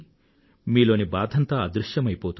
మీలోని బాధంతా అదృశ్యమైపోతుంది